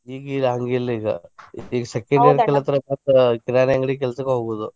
ಈಗ ಇಲ್ಲಾ ಹಂಗ ಇಲ್ಲ ಈಗ ಈಗ second year ಕಲ್ತರ ಮಾತ್ರ ಕಿರಾಣಿ ಅಂಗಡಿ ಕೆಲ್ಸಕ್ಕ ಹೋಗುದು.